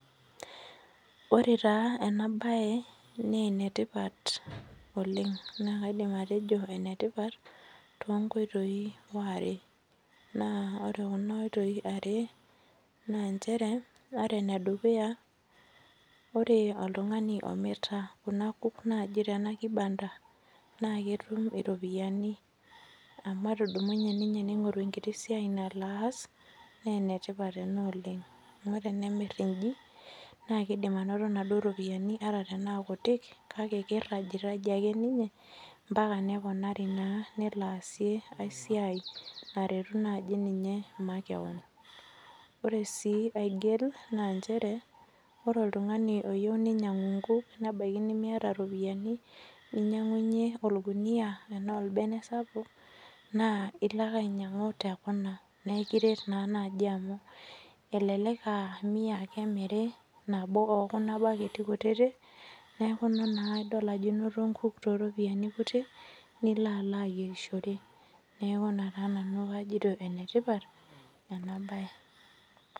Ore taa ena mbae naa enetipat oleng naa kaidim atejo ene tipat too nkoitoi are naa ore Kuna oitoi are naa njere ore ene duya ore oltung'ani omirita Kuna kuuk naaji Tena kibada naa ketum eropiani amu etudumunye ninye nelo aing'oru enkiti siai nalo aas naa enetipat ena oleng amu tenemir eji naa kidim anoto ropiani ataa tenaa kutik kake kirajie ake ninye mbaka neponari neloi atasie aisidai naretu ninye maakeon ore sii aigil naa njere ore oltung'ani oyieu nainyiang'u nkuk nebaiki nimiata ropiani nnyingunye orkuni enaa orbene sapuk naa elo ake ainyianugu tee Kuna naa ekiret amu elelek AA mia ake emiri nabo Kuna baketi kutiti neeku edol naa Ajo enoto nkuk too ropiani kutik nilo alo ayierishore neeku ena peyie ajoito enetipat ena mbae